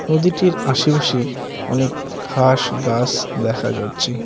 নদীটির আশেপাশে অনেক ঘাস গাস দেখা যাচ্ছে।